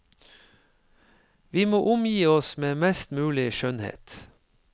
Vi må omgi oss med mest mulig skjønnhet.